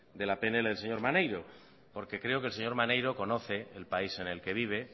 de la pnl del señor maneiro porque creo que el señor maneiro conoce el país en el que vive